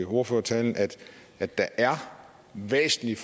ordførertale at der er væsentlige